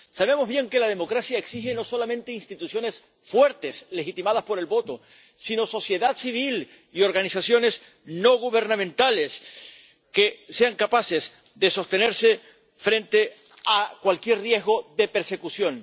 Sabemos bien que la democracia exige no solamente instituciones fuertes, legitimadas por el voto, sino sociedad civil y organizaciones no gubernamentales que sean capaces de sostenerse frente a cualquier riesgo de persecución.